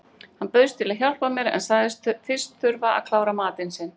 Hann bauðst til að hjálpa mér en sagðist fyrst þurfa að klára matinn sinn.